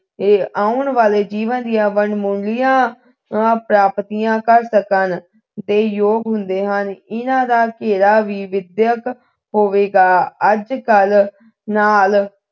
ਤੇ ਆਉਣ ਵਾਲੇ ਜੀਵਨ ਦੀਆਂ ਵਡਮੁੱਲੀਆਂ ਪ੍ਰਾਪਤੀਆਂ ਕਰ ਸਕਣ ਦੇ ਜੋਗ ਹੁੰਦੇ ਹਨ ਇਹਨਾਂ ਦਾ ਘੇਰਾ ਵੀ ਵਿਦਿਅਕ ਹੋਵੇਗਾ ਅੱਜ ਕੱਲ ਨਾਲ